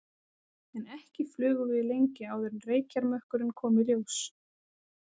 En ekki flugum við lengi áður en reykjarmökkurinn kom í ljós.